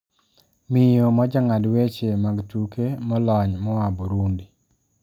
miyo ma jang`ad weche mag tuke molony moa Burundi